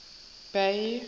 bay